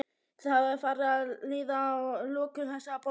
Þá er farið að líða að lokum þessarar bókar.